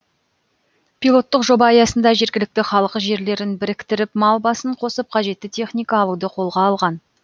пилоттық жоба аясында жергілікті халық жерлерін біріктіріп мал басын қосып қажетті техника алуды қолға алған